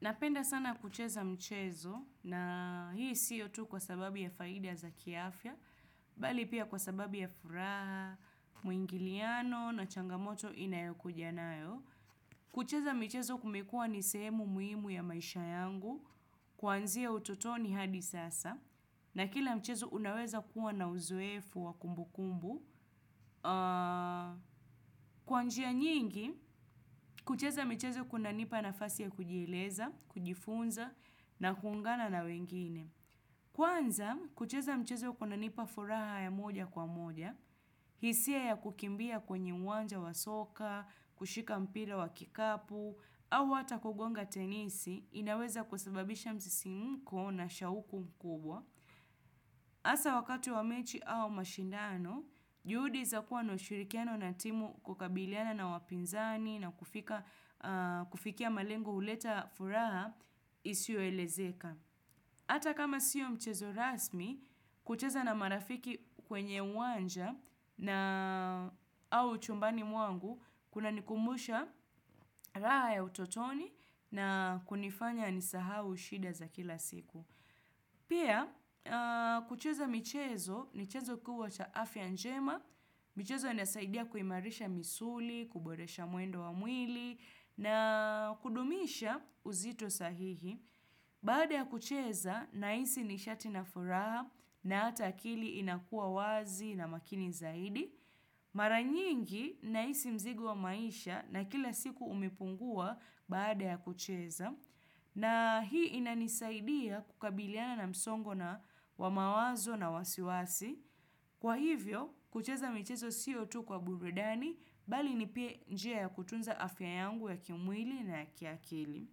Napenda sana kucheza mchezo na hii siyo tu kwa sababu ya faida za kiafya bali pia kwa sababu ya furaha muingiliano na changamoto inayokuja nayo. Kucheza michezo kumekua ni sehemu muhimu ya maisha yangu kuanzia utotoni hadi sasa na kila mchezo unaweza kuwa na uzoefu wa kumbukumbu. Kwa njia nyingi kucheza michezo kunanipa nafasi ya kujieleza kujifunza na kuungana na wengine kwanza kucheza mchezo kunanipa furaha ya moja kwa moja hisia ya kukimbia kwenye uwanja wa soka kushika mpira wa kikapu au hata kugonga tenisi inaweza kusababisha msisimko na shauku mkubwa Hasa wakati wa mechi au mashindano juhudi za kuwa na ushirikiano na timu kukabiliana na wapinzani na kufikia malengo huleta furaha isioelezeka. Hatta kama siyo mchezo rasmi kucheza na marafiki kwenye uwanja na au chumbani mwangu kunanikumbusha raha ya utotoni na kunifanya nisahau shida za kila siku. Pia kucheza michezo ni chanzo kubwa cha afya njema michezo inasaidia kuimarisha misuli kuboresha mwendo wa mwili na kudumisha uzito sahihi Baada ya kucheza nahisi nishati na furaha na hata akili inakua wazi na makini zaidi. Mara nyingi nahisi mzigo wa maisha na kila siku umepungua baada ya kucheza na hii inanisaidia kukabiliana na msongo wa mawazo na wasiwasi Kwa hivyo kucheza michezo siyo tu kwa burudani bali ni pia njia ya kutunza afya yangu ya kimwili na ya kiakili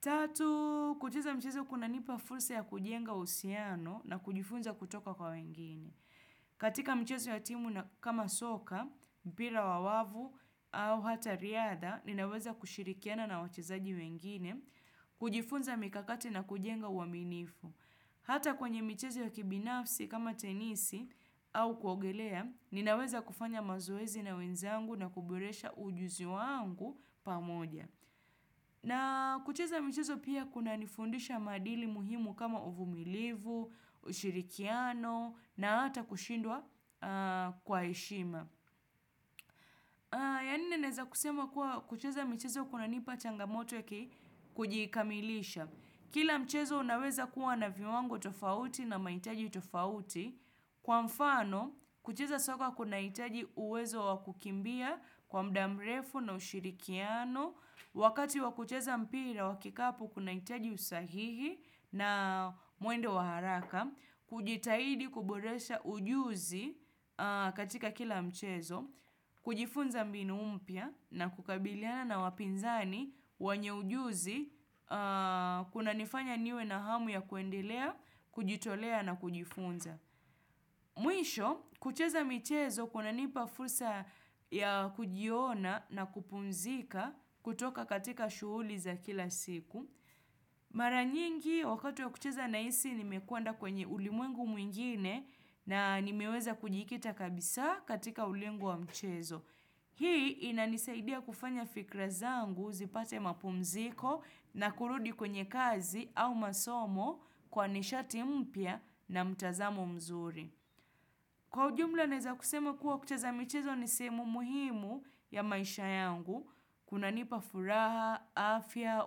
Tatu kucheza mchezo kunanipa fursa ya kujenga uhusiano na kujifunza kutoka kwa wengine katika mchezo ya timu kama soka mpira wa wavu au hata riadha ninaweza kushirikiana na wachezaji wengine kujifunza mikakati na kujenga uaminifu hata kwenye michezo ya kibinafsi kama tenisi au kuogelea ninaweza kufanya mazoezi na wenzangu na kuboresha ujuzi wangu pamoja na kucheza michezo pia kunanifundisha maadili muhimu kama uvumilivu ushirikiano na hata kushindwa kwa heshima, ya nne nawezakusema kuwa kucheza michezo kunanipa changamoto ya kujikamilisha kila mchezo unawezakuwa na viwango tofauti na mahitaji tofauti. Kwa mfano kucheza soka kunahitaji uwezo wa kukimbia kwa muda mrefu na ushirikiano wakati wa kucheza mpira wa kikapu kunahitaji usahihi na mwendo wa haraka kujitahidi kuboresha ujuzi katika kila mchezo kujifunza mbinu mpya na kukabiliana na wapinzani wenye ujuzi kunanifanya niwe na hamu ya kuendelea kujitolea na kujifunza Mwisho kucheza michezo kunanipa fursa ya kujiona na kupumzika kutoka katika shughuli za kila siku Mara nyingi wakati ya kucheza nahisi nimekwenda kwenye ulimwengu mwingine na nimeweza kujikita kabisa katika ulingo wa mchezo Hii inanisaidia kufanya fikra zangu zipate mapumziko na kurudi kwenye kazi au masomo kwa nishati mpya na mtazamo mzuri Kwa ujumla nawezakusema kuwa kucheza michezo ni sehemu muhimu ya maisha yangu kunanipa furaha afya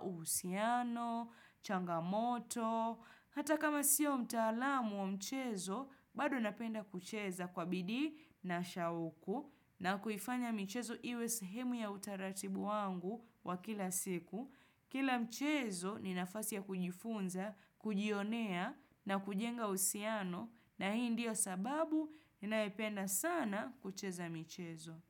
uhusiano changamoto hata kama siyo mtaalamu wa mchezo bado napenda kucheza kwa bidii na shauku na kuifanya michezo iwe sahemu ya utaratibu wangu wa kila siku Kila mchezo ni nafasi ya kujifunza kujionea na kujenga uhusiano na hii ndiyo sababu ninayopenda sana kucheza michezo.